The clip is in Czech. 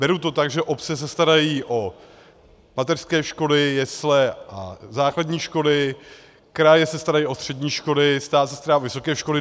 Beru to tak, že obce se starají o mateřské školy, jesle a základní školy, kraje se starají o střední školy, stát se stará o vysoké školy.